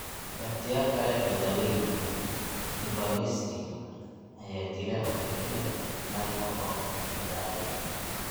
Ikhtiyaar kale oo daaweyn ah, ivermectin, ayaa dila oo kaliya microfilariae.